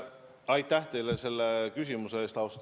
Aitäh teile selle küsimuse eest!